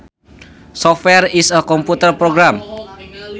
Software is a computer program